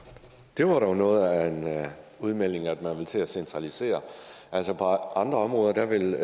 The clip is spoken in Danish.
det var dog noget af en udmelding at man vil til at centralisere på andre områder vil